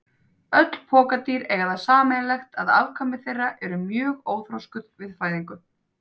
Öll pokadýr eiga það sameiginlegt að afkvæmi þeirra eru mjög óþroskuð við fæðingu.